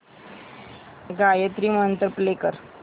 गायत्री मंत्र प्ले कर